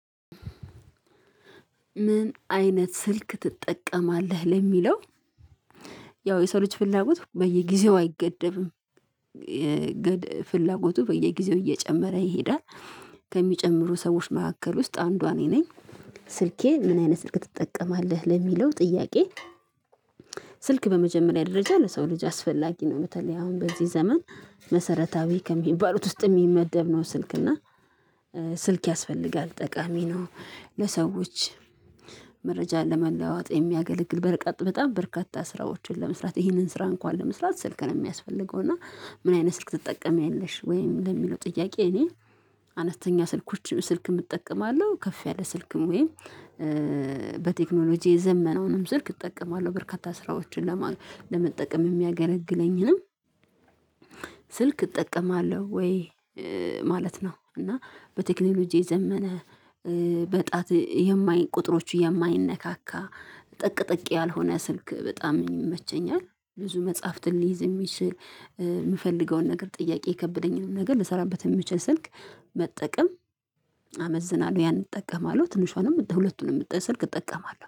ምን አይነት ስልክ ትጠቀማለህ ለሚለው? ያው የሰው ልጅ ፍላጎት በየጊዜው አይገደብም ፍላጎቱ በየጊዜው እየጨመረ ይሄዳል። ከሚጨምሩ ሰዎች መካከል ውስጥ አንዷ እኔ ነኝ። ስልኬ ምን አይነት ስልክ ትጠቀማለህ ለሚለው ጥያቄ? ስልክ በመጀመሪያ ደረጃ ለሰው ልጅ አስፈላጊ ነው። በተለይ አሁን በዚህ ዘመን መሰረታዊ ከሚባሉት ውስጥ ሚመደብ ነው። ስልክ እና ስልክ ያስፈልጋል ጠቃሚ ነው። ለሰዎች መረጃ ለመለዋጥ የሚያገለግል በርቀት በጣም በርካታ ስራዎችን ለመስራት ይህንን ስራ እንኳን ለመስራት ስልክ ነው ሚያስፈልገው። እና ምን አይነት ስልክ ትጠቀሚያለሽ ወይም ለሚለው ጥያቄ? እኔ አነስተኛ ስልኮችን ስልክም እጠቀማለሁ ከፍ ያለ ስልክም ወይም በቴክኖሎጂ የዘመነውንም ስልክ እጠቀማለሁ። በርካታ ስራዎችን ለመጠቀም ሚያገለግለኝንም ስልክ እጠቀማለሁ ወይ ማለት ነው። እና በቴክኖሎጂ ዘመነ በጣት የማይ ቁጥሮች የማይነካካ ጠቅጥቅ ያልሆነ ስልክ በጣም ይመቸኛል። ብዙ መጽሐፍትን ሊይዝ የሚችል የምፈልገውን ነገር ጥያቄ የከበደኝን ነገር ልሰራበት የምችል ስልክ መጠቀም አመዝናለሁ ያንን እጠቀማለሁ። ትንሿንም ሁለቱንም ስልክ እጠቀማለሁ